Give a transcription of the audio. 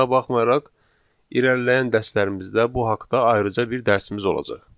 Buna baxmayaraq irəliləyən dərslərimizdə bu haqta ayrıca bir dərsimiz olacaq.